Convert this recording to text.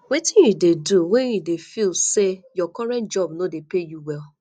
wetin you dey do when you dey feel say your current job no dey pay you well